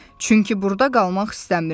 Çünki burda qalmaq istəmirəm.